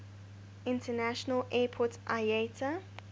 international airport iata